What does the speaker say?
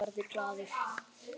Hann verður glaður.